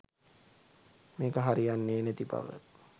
මේක හරියන්නේ නැති බව.